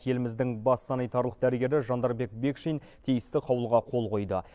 еліміздің бас санитарлық дәрігері жандарбек бекшин тиісті қаулыға қол қойды